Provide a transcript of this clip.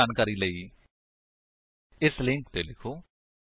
ਜਿਆਦਾ ਜਾਣਕਾਰੀ ਲਈ ਕੰਟੈਕਟ ਸਪੋਕਨ ਟਿਊਟੋਰੀਅਲ ਓਰਗ ਉੱਤੇ ਲਿਖੋ